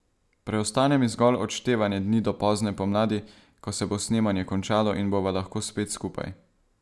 Preostane mi zgolj odštevanje dni do pozne pomladi, ko se bo snemanje končalo in bova lahko spet skupaj.